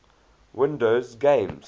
windows games